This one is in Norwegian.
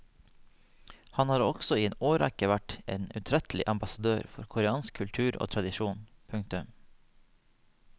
Han har også i en årrekke vært en utrettelig ambassadør for koreansk kultur og tradisjon. punktum